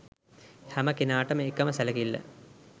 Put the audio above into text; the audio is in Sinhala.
හැම කෙනාටම එකම සැලකිල්ල